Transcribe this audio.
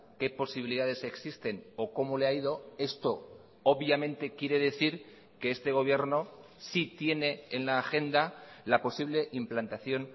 qué posibilidades existen o cómo le ha ido esto obviamente quiere decir que este gobierno sí tiene en la agenda la posible implantación